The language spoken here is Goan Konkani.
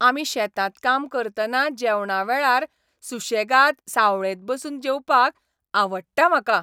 आमी शेतांत काम करतना जेवणा वेळार सुशेगाद सावळेंत बसून जेवपाक आवडटा म्हाका.